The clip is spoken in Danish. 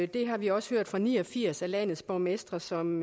det har vi også hørt fra ni og firs af landets borgmestre som